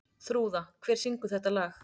Þrúða, hver syngur þetta lag?